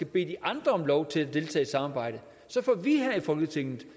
bede de andre om lov til at deltage i samarbejdet får vi her i folketinget